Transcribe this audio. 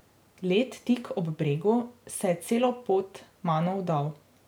Led tik ob bregu se je celo pod mano vdal.